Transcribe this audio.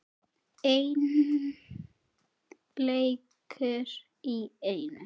Einn leikur í einu.